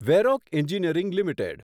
Varroc engineering limited